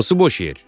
Hansı boş yer?